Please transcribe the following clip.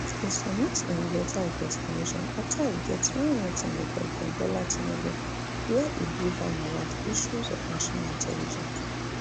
e submit im letter of resignation afta e get small meeting wit president bola tinubu wia e brief am about issues of national intelligence